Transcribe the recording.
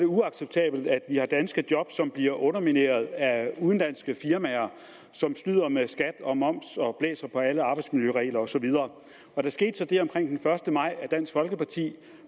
uacceptabelt at vi har danske job som bliver undermineret af udenlandske firmaer som snyder med skat og moms og blæser på alle arbejdsmiljøregler og så videre der skete så det omkring den første maj at dansk folkeparti